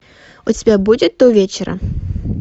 у тебя будет до вечера